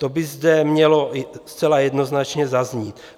To by zde mělo zcela jednoznačně zaznít.